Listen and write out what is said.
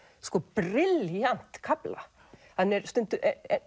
brilljant kafla hann er stundum